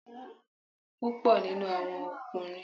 Púpọ̀ nínú àwọn ọkùnrin yẹ kí ó máa ní ètò dúró dain kí wọn tó ṣe ìgbéyàwó.